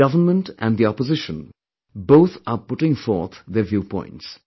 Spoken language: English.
The Government and the opposition both are putting forth their view points